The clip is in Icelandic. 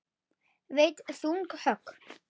Veitt þung högg.